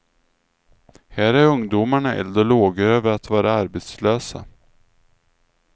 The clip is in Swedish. Här är ungdomarna eld och lågor över att vara arbetslösa.